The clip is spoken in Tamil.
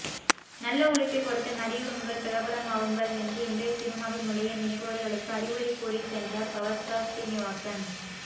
நல்ல உழைப்பை கொடுத்து நடியுங்கள் பிரபலமாகுங்கள் என்று இன்றைய சினிமாவில் நுழைய நினைப்பவர்களுக்கு அறிவுரை கூறி சென்றார் பவர்ஸ்டார் ஶ்ரீனிவாசன்